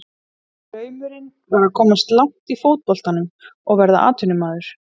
Draumurinn var að komast langt í fótboltanum og verða atvinnumaður.